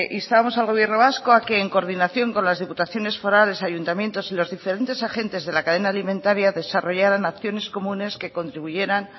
instábamos al gobierno vasco a que en coordinación con las diputaciones forales ayuntamientos y los diferentes agentes de la cadena alimentaria desarrollaran acciones comunes que contribuyeran